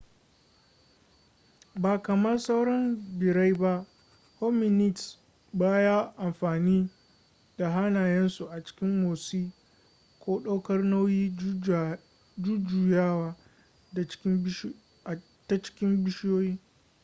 ba kamar sauran birrai ba hominids baya amfani da hannayensu a cikin motsi ko ɗaukar nauyi ko jujjuyawa ta cikin bishiyoyi